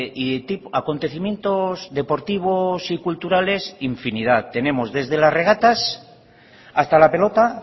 y acontecimientos deportivos y culturales infinidad tenemos desde las regatas hasta la pelota